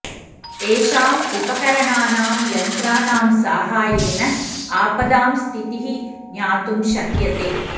तेषाम् उपकरणानां यन्त्राणां साहाय्येन आपदां स्थितिः ज्ञातुं शक्यते